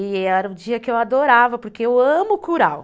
E era um dia que eu adorava, porque eu amo curau.